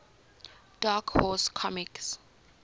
dark horse comics